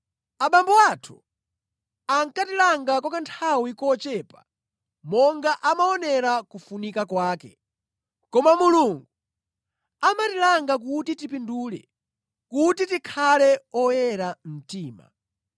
Abambo athu ankatilanga kwa kanthawi kochepa monga amaonera kufunika kwake, koma Mulungu amatilanga kuti tipindule, kuti tikhale oyera mtima.